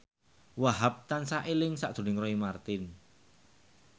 Wahhab tansah eling sakjroning Roy Marten